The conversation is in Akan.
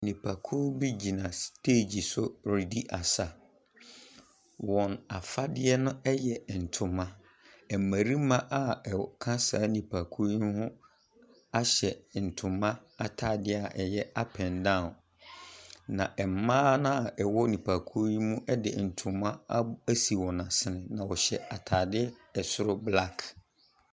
Nipakuw bi gyina stage so redi asa. Wɔn afadeɛ no yɛ ntoma. Mmarima a wɔ ka sa nipakuo yi ho ahyɛ ntoma atadeɛ a ɛyɛ up and down. Na mmaa no a wɔwɔ nipakuo yi mu de ntima ab asi wɔn asene, na wɔhyɛ atadeɛ soro black.